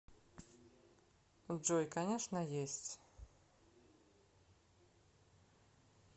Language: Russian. джой конечно есть